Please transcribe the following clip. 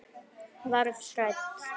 Verð hrædd.